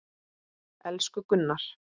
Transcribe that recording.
Elsku Gunnar.